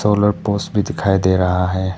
भी दिखाई दे रहा है।